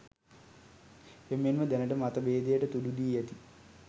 එමෙන්ම දැනට මත භේදයට තුඩු දී ඇති